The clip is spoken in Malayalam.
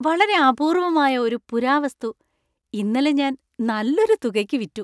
വളരെ അപൂർവമായ ഒരു പുരാവസ്തു ഇന്നലെ ഞാൻ നല്ലൊരു തുകയ്ക്ക് വിറ്റു.